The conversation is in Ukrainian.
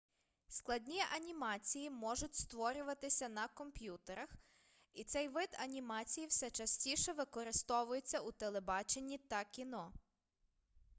складні анімації можуть створюватися на комп'ютерах і цей вид анімації все частіше використовується у телебаченні та кіно